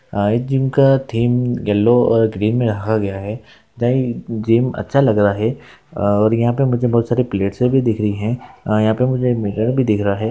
हाय gym -का theme yellow और green में रखा गया है दही उ जिम अच्छा लग रहा है और यहां पे मुझे बहुत सारे प्लेट से भी दिख रही है और यहां पे मुझे एक मिरर भी दिख रहा है।